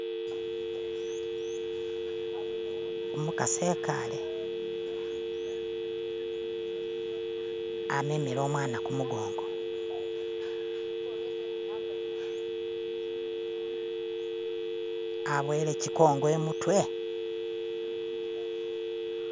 Umukasi ikale amemele umwana kumugongo aboyele shigongo imutwe.